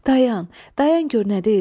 Dayan, dayan gör nə deyirəm.